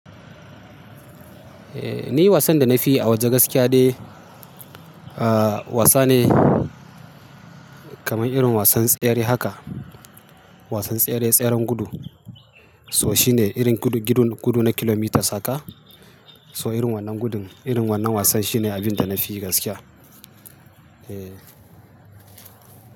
Eh, ni wasan da na fi yi a waje gaskiya dai, ah wasa ne kamar irin wasan tsere haka. Wasan tsere, tseren gudu. So shine irin gudu, gidan gudu na kilomitas haka. So irin wannan gudun, irin wannan wasan shine abin da na fi gaskiya. Eh.